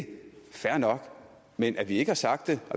fair nok men at vi ikke har sagt